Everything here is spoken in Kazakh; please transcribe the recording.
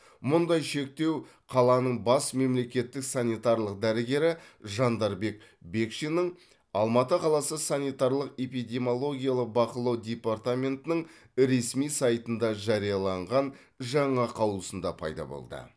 мұндай шектеу қаланың бас мемлекеттік санитарлық дәрігері жандарбек бекшиннің алматы қаласы санитарлық эпидемиологиялық бақылау департаментінің ресми сайтында жарияланған жаңа қаулысында пайда болды